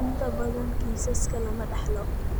Inta badan kiisaska lama dhaxlo.